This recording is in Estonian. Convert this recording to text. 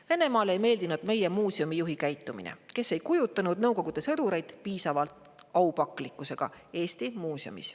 Venemaale ei meeldinud meie muuseumijuhi käitumine, kes ei kujutanud Nõukogude sõdureid Eesti muuseumis piisava aupaklikkusega.